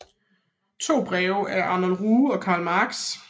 To breve af Arnold Ruge og Karl Marx